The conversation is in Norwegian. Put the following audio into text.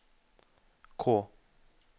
K